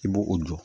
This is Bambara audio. I b'o o jɔ